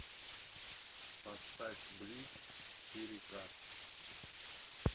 поставь блич четыре ка